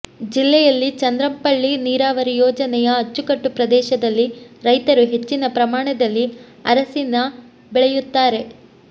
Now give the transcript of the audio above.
ಜಿಲ್ಲೆಯಲ್ಲಿ ಚಂದ್ರಂಪಳ್ಳಿ ನೀರಾವರಿ ಯೋಜನೆಯ ಅಚ್ಚುಕಟ್ಟು ಪ್ರದೇಶದಲ್ಲಿ ರೈತರು ಹೆಚ್ಚಿನ ಪ್ರಮಾಣದಲ್ಲಿ ಅರಸಿನ ಬೆಳೆಯುತ್ತಾರೆ